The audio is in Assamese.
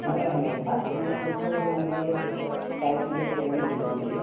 অ, হয় fasting ৰ বিষয়ে মই বাৰু চাইছিলো অকনমান internet তত